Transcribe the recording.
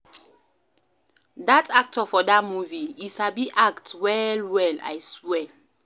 Dat actor for dat movie, e sabi act well-well, I swear.